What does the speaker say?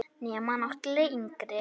Nema náttúrlega yngri.